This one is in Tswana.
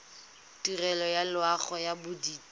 tirelo ya loago ya bodit